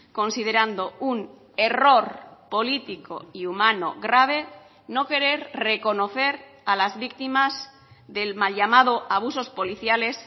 considerando un error político y humano grave no querer reconocer a las víctimas del mal llamado abusos policiales